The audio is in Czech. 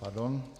Pardon.